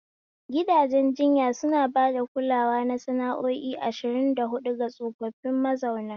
Gidajen jinya suna ba da kulawa na sa'o'i ashirin da hudu ga tsofaffi mazauna.